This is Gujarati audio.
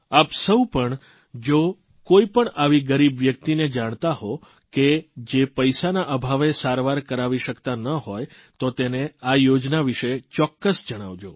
આપ સૌ પણ જો કોઇપણ આવી ગરીબ વ્યક્તિને જાણતા હો કે જે પૈસાના અભાવે સારવાર કરાવી શકતા ન હોય તો તેને આ યોજના વિશે ચોક્કસ જણાવજો